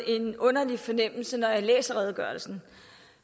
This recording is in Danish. en underlig fornemmelse når jeg læser redegørelsen